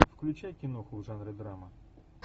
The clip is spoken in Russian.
включай киноху в жанре драма